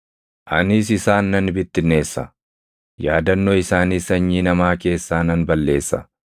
Anis isaan nan bittinneessa; yaadannoo isaaniis sanyii namaa keessaa nan balleessa.